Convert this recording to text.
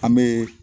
An bɛ